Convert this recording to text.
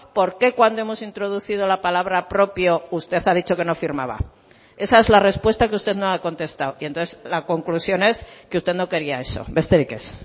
por qué cuando hemos introducido la palabra propio usted ha dicho que no firmaba esa es la respuesta que usted no ha contestado y entonces la conclusión es que usted no quería eso besterik ez